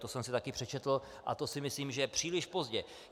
To jsem si taky přečetl a to si myslím, že je příliš pozdě.